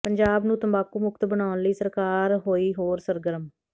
ਪੰਜਾਬ ਨੂੰ ਤੰਬਾਕੂ ਮੁਕਤ ਬਣਾਉਣ ਲਈ ਸਰਕਾਰ ਹੋਈ ਹੋਰ ਸਰਗਰਮ